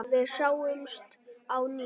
Við sjáumst á ný.